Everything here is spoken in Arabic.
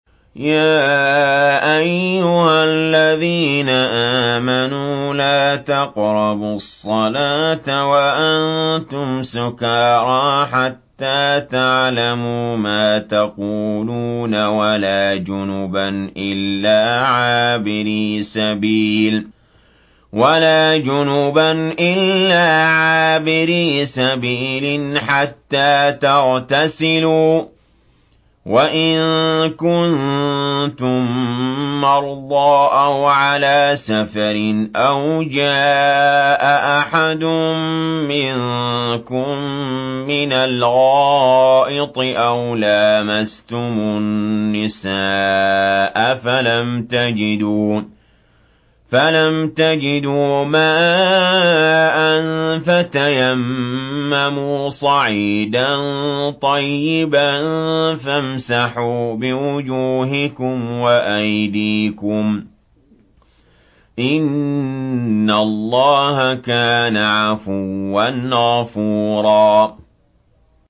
يَا أَيُّهَا الَّذِينَ آمَنُوا لَا تَقْرَبُوا الصَّلَاةَ وَأَنتُمْ سُكَارَىٰ حَتَّىٰ تَعْلَمُوا مَا تَقُولُونَ وَلَا جُنُبًا إِلَّا عَابِرِي سَبِيلٍ حَتَّىٰ تَغْتَسِلُوا ۚ وَإِن كُنتُم مَّرْضَىٰ أَوْ عَلَىٰ سَفَرٍ أَوْ جَاءَ أَحَدٌ مِّنكُم مِّنَ الْغَائِطِ أَوْ لَامَسْتُمُ النِّسَاءَ فَلَمْ تَجِدُوا مَاءً فَتَيَمَّمُوا صَعِيدًا طَيِّبًا فَامْسَحُوا بِوُجُوهِكُمْ وَأَيْدِيكُمْ ۗ إِنَّ اللَّهَ كَانَ عَفُوًّا غَفُورًا